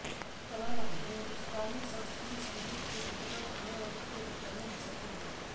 तराना हिंदुस्तानी शास्त्रीय संगीत के अंतर्गत आने वाली एक गायन शैली है